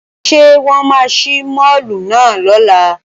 Ṣé wọ́n máa ṣí máàlù náà lọ́la?